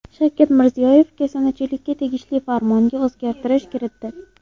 Shavkat Mirziyoyev kasanachilikka tegishli Farmonga o‘zgartish kiritdi.